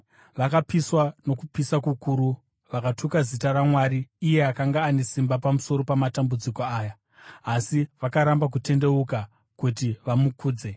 Vakapiswa nokupisa kukuru vakatuka zita raMwari, iye akanga ane simba pamusoro pamatambudziko aya, asi vakaramba kutendeuka kuti vamukudze.